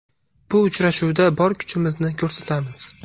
Bu uchrashuvda bor kuchimizni ko‘rsatamiz.